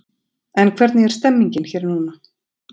En hvernig er stemmningin hér núna?